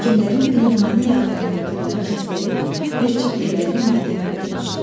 Həkimlərin pnevmoniya adlandırdıqları xəstəlik bir çox evləri matəmə bürümüşdü.